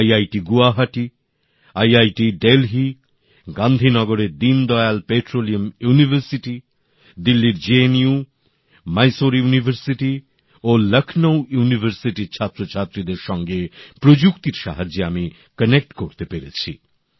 IIT Guwahati IIT Delhi গান্ধীনগরের Deendayal petroleum university দিল্লীর JNU Mysore বিশ্ববিদ্যালয় ও লক্ষনৌ বিশ্ববিদ্যালয়ের ছাত্রছাত্রীদের সঙ্গে প্রযুক্তির সাহায্যে আমি যোগাযোগ করতে পেরেছি